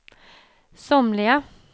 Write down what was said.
somliga